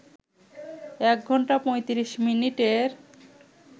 ১ ঘন্টা ৩৫ মিনিটের